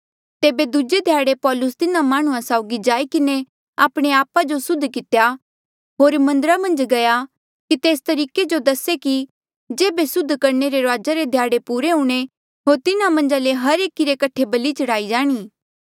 तेबे दूजे ध्याड़े पौलुस तिन्हा माह्णुंआं साउगी जाई किन्हें आपणे आपा जो सुद्ध कितेया होर मन्दरा मन्झ गया की तेस तरिका जो दसे कि जेबे सुद्ध करणे रे रुआजा रे ध्याड़े पुरे हूंणे होर तिन्हा मन्झा ले हर एकी रे कठे बलि चढ़ाई जाणी